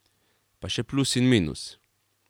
Pa še plus in minus.